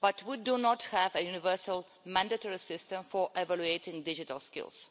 but we do not have a universal mandatory system for evaluating digital skills.